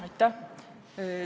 Aitäh!